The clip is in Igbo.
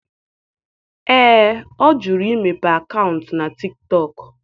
Ee, ọ jụrụ imepe akaụntụ na Tiktọk.